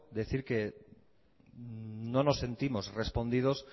decir que no nos sentimos respondidos